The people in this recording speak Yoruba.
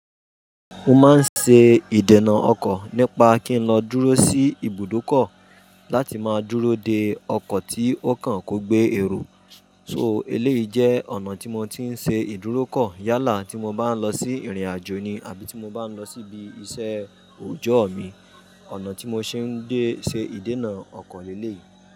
Mo máa ń ṣe ìdènà ọkọ̀ nípa kí n lọ dúró sí ibùdókọ̀ láti máa dúró de ọkọ̀ tí ó kàn kó gbé èrò. So eléyìí jẹ́ ọ̀nà tí mo ti ń ṣe ìdúrókọ̀ yálà tí mo bá ń lọ sí ìrìn-àjò ni àbí tí mo bá ń lọ síbi iṣẹ́ òòjọ́ mi. Ọ̀nà tí mo ṣe ń dé ṣe ìdènà ọkọ̀ ni eléyìí.